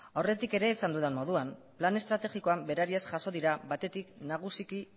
aurretik ere esan dudan moduan lan estrategikoan berariaz jaso dira batetik nagusiki